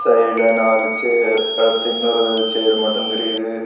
வழியில நாலு சேர் அடுத்து இன்னொரு சேர் மட்டும் தெரியுது.